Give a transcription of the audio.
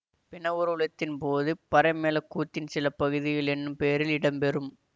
பிண ஊர்வலத்தின் போது பறைமேள கூத்தின் சில பகுதிகள் என்னும் பேரில் இடம்பெறும்